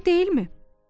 Doğru deyilmi?